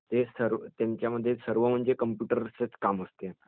ते सर्व.. त्यांच्यामध्ये सर्व म्हणजे कम्प्युटरचेच काम असते